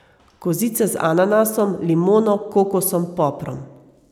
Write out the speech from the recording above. Kozice z ananasom, limono, kokosom, poprom ...